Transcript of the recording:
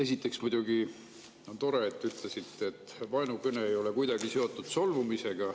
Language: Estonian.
Esiteks, muidugi on tore, et te ütlesite, et vaenukõne ei ole kuidagi seotud solvumisega.